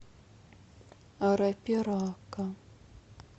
арапирака